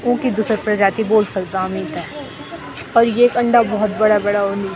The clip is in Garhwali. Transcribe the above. ऊंकी दुसर प्रजाति बोल सकदा हम ईथे पर येक अंडा भौत बड़ा बड़ा हुन्दि।